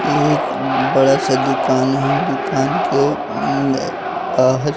एक बड़ा सा दुकान है दुकान के बाहर